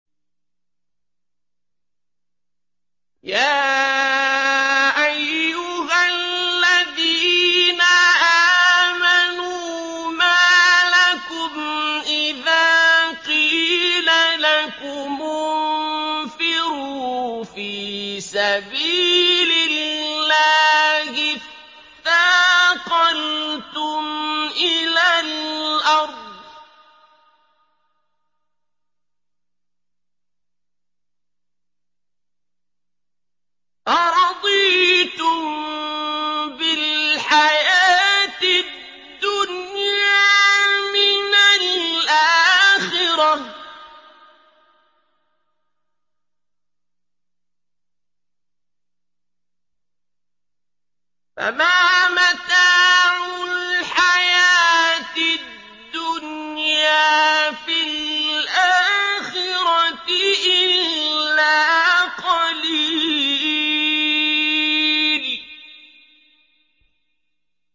يَا أَيُّهَا الَّذِينَ آمَنُوا مَا لَكُمْ إِذَا قِيلَ لَكُمُ انفِرُوا فِي سَبِيلِ اللَّهِ اثَّاقَلْتُمْ إِلَى الْأَرْضِ ۚ أَرَضِيتُم بِالْحَيَاةِ الدُّنْيَا مِنَ الْآخِرَةِ ۚ فَمَا مَتَاعُ الْحَيَاةِ الدُّنْيَا فِي الْآخِرَةِ إِلَّا قَلِيلٌ